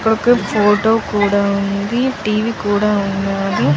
ఇక్కడ ఒక ఫోటో కూడా ఉంది. టీవీ కూడా ఉన్నది.